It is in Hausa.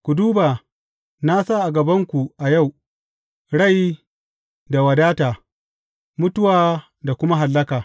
Ku duba, na sa a gabanku a yau, rai da wadata, mutuwa da kuma hallaka.